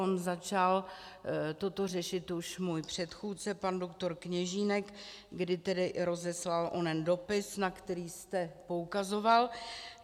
On začal toto řešit už můj předchůdce pan doktor Kněžínek, kdy tedy rozeslal onen dopis, na který jste poukazoval.